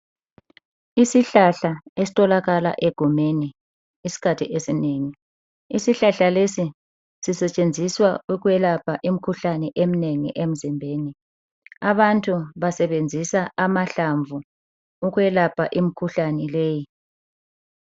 Isihlahla esitholakala egumeni isikhathi esinengi, isihlahla lesi sisetshenziswa ukwelapha imkhuhlane emnengi emzimbeni. Abantu basebenzisa amahlamvu ukwelapha imkhuhlane leyi.